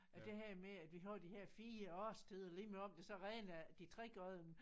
At det her med at vi har de her 4 årstider lige meget om det så regner de 3 af dem